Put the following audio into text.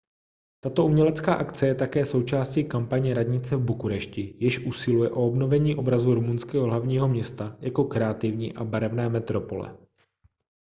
tato umělecká akce je také součástí kampaně radnice v bukurešti jež usiluje o obnovení obrazu rumunského hlavního města jako kreativní a barevné metropole